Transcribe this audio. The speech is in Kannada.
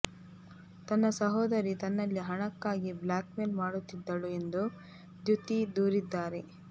ತನ್ನ ಸಹೋದರಿ ತನ್ನಲ್ಲಿ ಹಣಕ್ಕಾಗಿ ಬ್ಲ್ಯಾಕ್ಮೇಲ್ ಮಾಡುತ್ತಿದ್ದಳು ಎಂದು ದ್ಯುತೀ ದೂರಿದ್ದಾರೆ